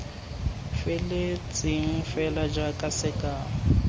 feletseng fela jaaka sekao l